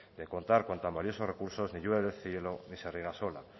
de contar con tal valiosos recursos ni llueve del cielo ni se riega sola